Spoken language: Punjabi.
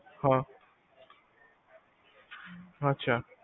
ਹਾਂ, ਅਛਾ